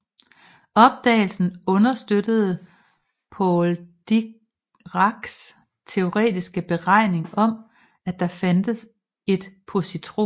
Opdagelsen understøttede Paul Diracs teoretiske beregninger om at der fandtes et positron